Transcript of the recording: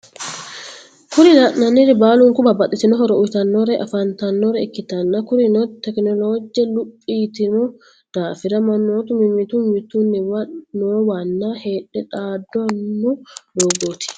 Kuri lananiri baluniku babtitino horro uyitanore afanitanore ikitana kurino technoloje luphi yitino dafira mannotu mimitu mimituniwa noowano hedhe xadano dogoti.